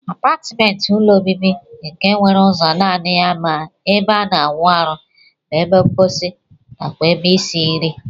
Apatment bu ụlọ obibi nke nwere ụzo nani ya ma ebe ana awụ arụ, ebe nkposi nakwa ebe isi nri.